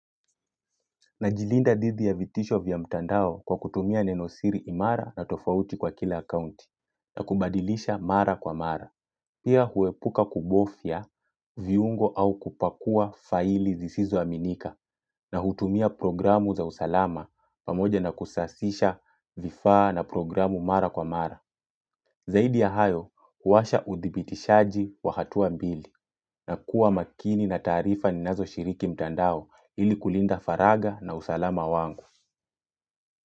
Najilinda didhi ya vitisho vya mtandao kwa kutumia nenosiri imara na tofauti kwa kila akaunti na kubadilisha mara kwa mara. Pia huepuka kubofya viungo au kupakua faili zisizo aminika na hutumia programu za usalama pamoja na kusasisha vifaa na programu mara kwa mara. Zaidi ya hayo, huwasha udhibitishaji wa hatua mbili na kuwa makini na taarifa ninazo shiriki mtandao ili kulinda faraga na usalama wangu.